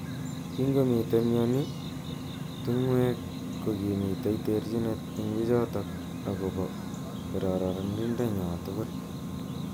Kingomitei mnyeni tung'wek kokimitei terjinet eng bichtok akobo kararindo nywa tugul.